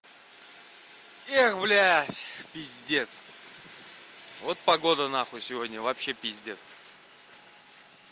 эх блядь пиздец вот погода на хуй сегодня вообще пиздец